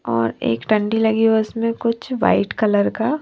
और एक डंडी लगी है उसमें कुछ वाइट कलर का--